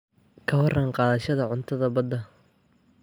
Ka warran qaadashada cuntada badda?